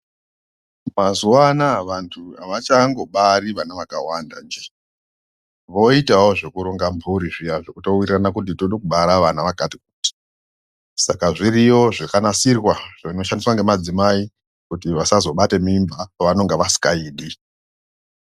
Mazuva anaa vantu havachangobari vana vakawanda njee. Voitawo zvekuronga mburi zviya zvekutowirirana kuti toda kubara vana vakati kuti. Saka zviriyo zvakanasirwa nemadzimai kuti vasazobata mimba pavanenga vasingaidi.